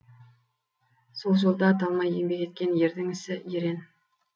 сол жолда талмай еңбек еткен ердің ісі ерен